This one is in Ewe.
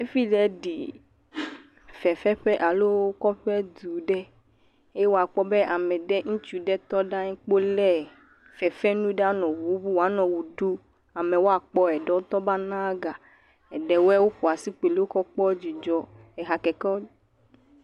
Efile ɖi fefe ƒe alo kɔƒe du ɖe eye akpɔ be ame ɖe ŋutsu ɖe tɔ kpɔ le fefe nu le woanɔ wu ɖum. Ame aɖe teŋu va na gã. Aɖewoe goa si kpɔ li wokɔ kpɔ dzidzɔ. Eha keke......